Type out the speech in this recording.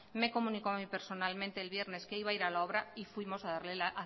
me comunicó a mí personalmente el viernes que iba a ir a la obra y fuimos a